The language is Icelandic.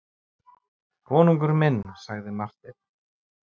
Konungur minn, sagði Marteinn.